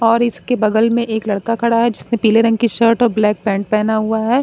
और इसके बगल में एक लड़का खड़ा है जिसने पीले रंग की शर्ट और ब्लैक पेंट पहना हुआ है।